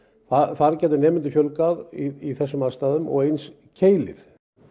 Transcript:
þar getum nemendum fjölgað í þessum aðstæðum og eins í Keili